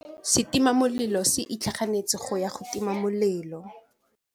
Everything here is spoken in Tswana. Setima molelô se itlhaganêtse go ya go tima molelô.